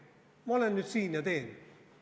Ma olen nüüd siin ja teen.